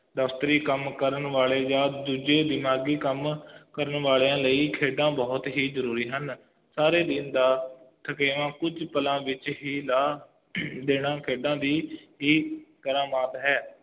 ਦਫ਼ਤਰੀ ਕੰਮ ਕਰਨ ਵਾਲੇ ਜਾ ਦੂਜੇ ਦਿਮਾਗੀ ਕੰਮ ਕਰਨ ਵਾਲਿਆਂ ਲਈ ਖੇਡਾਂ ਬਹੁਤ ਹੀ ਜ਼ਰੂਰੀ ਹਨ ਸਾਰੇ ਦਿਨ ਦਾ ਥਕੇਵਾਂ ਕੁਜ ਪਲਾਂ ਵਿਚ ਹੀ ਲਾ ਦੇਣਾ ਖੇਡਾਂ ਦੀ ਹੀ ਕਰਾਮਾਤ ਹੈ